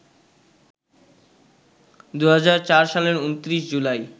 ২০০৪ সালের ২৯ জুলাই